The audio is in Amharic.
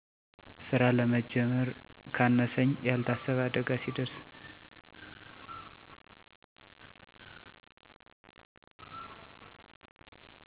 ስራ ለመጀመር ካነሰኝ ያልታሰበ አደጋ ሲደርስ